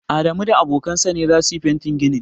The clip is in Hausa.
Adamu da abokan sa ne za su fente ginin.